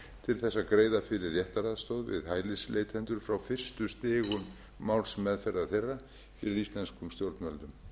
til þess að greiða fyrir réttaraðstoð við hælisleitendur frá fyrstu stigum málsmeðferðar þeirra fyrir íslenskum stjórnvöldum